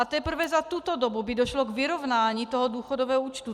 A teprve za tuto dobu by došlo k vyrovnání toho důchodového účtu.